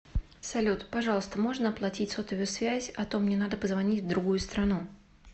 салют пожалуйста можно оплатить сотовую связь а то мне надо позвонить в другую страну